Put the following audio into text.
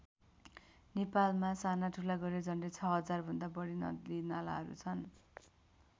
नेपालमा साना ठुला गरेर झन्डै ६००० भन्दा बढी नदीनालाहरू छन्।